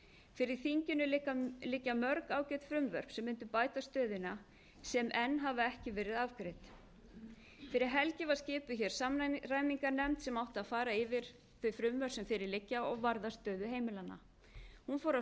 fyrir þinginu liggja mörg ágæt frumvörp sem mundu bæta stöðuna sem enn hafa ekki verið afgreidd fyrir helgi var skipuð hér samræmingarnefnd sem átti að fara yfir þau frumvörp sem fyrir liggja og varða stöðu heimilanna hún fór af